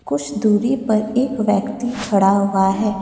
कुछ दूरी पर एक व्यक्ति खड़ा हुआ है।